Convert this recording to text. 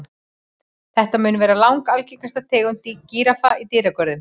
Þetta mun vera langalgengasta tegund gíraffa í dýragörðum.